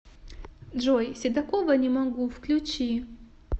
джой седакова не могу включи